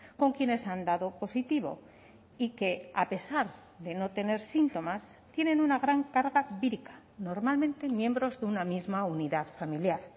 con quienes han dado positivo y que a pesar de no tener síntomas tienen una gran carga vírica normalmente miembros de una misma unidad familiar